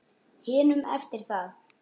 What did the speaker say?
hinum eftir það.